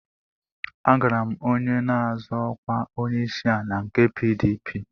Agara m onye na-azọ ọkwa onyeisiala nke PDP